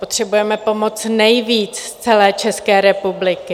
Potřebujeme pomoc nejvíc z celé České republiky.